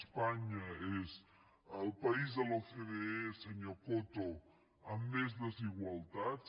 espanya és el país de l’ocde senyor coto amb més desigualtats